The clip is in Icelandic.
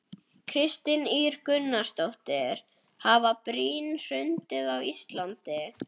Kristín Ýr Gunnarsdóttir: Hafa brýr hrunið á Íslandi?